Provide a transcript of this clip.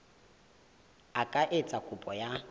a ka etsa kopo ya